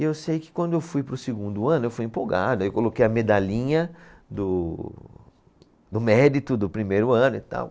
E eu sei que quando eu fui para o segundo ano, eu fui empolgado, aí eu coloquei a medalhinha do, do mérito do primeiro ano e tal.